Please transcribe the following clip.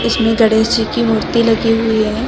श्री गणेश जी की मूर्ति लगी हुई है।